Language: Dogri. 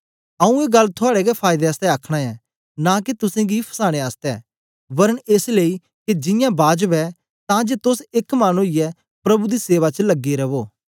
आऊँ ए गल्ल थुआड़े गै फायदे आसतै आखना ऐं नां के तुसेंगी फसाने आसतै वरन एस लेई के जियां बाजब ऐ तां जे तोस एक मन ओईयै प्रभु दी सेवा च लगे रवो